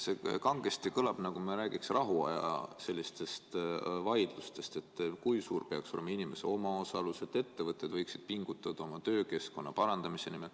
Kangesti kõlab, nagu me räägiks rahuaja vaidlustest, kui suur peaks olema inimese omaosalus, ja et ettevõtjad võiksid pingutada oma töökeskkonna parandamise nimel.